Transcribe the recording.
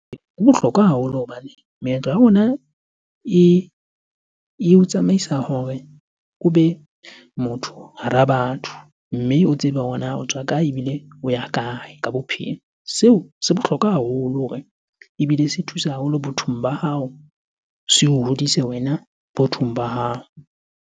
Ho bohlokwa haholo hobane meetlo ya rona eo tsamaisa hore o be motho hara batho, mme o tsebe hore na o tswa kae ebile o ya kae ka bophelo. Seo se bohlokwa haholo hore, ebile se thusa haholo bathong ba hao, seo hodise wena bothong ba hao.